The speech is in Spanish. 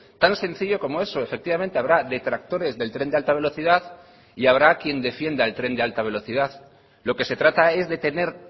tan sencillo como eso efectivamente habrá detractores del tren de alta velocidad y habrá quien defienda el tren de alta velocidad lo que se trata es de tener